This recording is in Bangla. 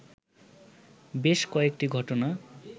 বেশ কয়েকটি ঘটনা